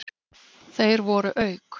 Þeir voru auk